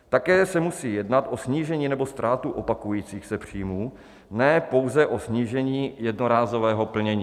Také se musí jednat o snížení nebo ztrátu opakujících se příjmů, ne pouze o snížení jednorázového plnění.